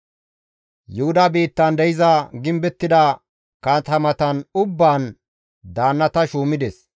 Yuhuda biittan de7iza gimbettida katamatan ubbaan daannata shuumides.